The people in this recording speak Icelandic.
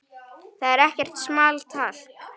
Það er ekkert small talk.